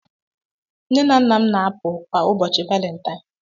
Nne na nna m na-apụ kwa ụbọchị Valentine.